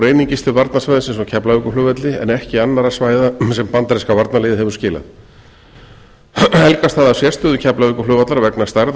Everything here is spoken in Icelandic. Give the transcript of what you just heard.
einungis til varnarsvæðisins á keflavíkurflugvelli en ekki annarra svæða sem bandaríska varnarliðið hefur skilað helgast það af sérstöðu keflavíkurflugvallar vegna stærðar